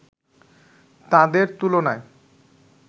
তাদের তুলনায়